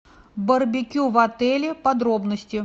барбекю в отеле подробности